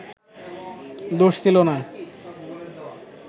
দোষ ছিলো না